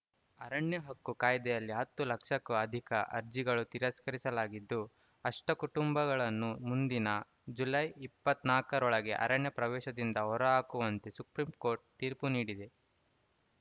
ಅರಣ್ಯ ಹಕ್ಕು ಕಾಯ್ದೆಯಲ್ಲಿ ಹತ್ತು ಲಕ್ಷಕ್ಕೂ ಅಧಿಕ ಅರ್ಜಿಗಳು ತಿರಸ್ಕರಿಲಾಗಿದ್ದು ಅಷ್ಟಕುಟುಂಬಗಳನ್ನು ಮುಂದಿನ ಜುಲೈ ಇಪ್ಪತ್ತ್ ನಾಲ್ಕರೊಳಗೆ ಅರಣ್ಯ ಪ್ರದೇಶದಿಂದ ಹೊರಹಾಕುವಂತೆ ಸುಪ್ರೀಂಕೋರ್ಟ್‌ ತೀರ್ಪು ನೀಡಿದೆ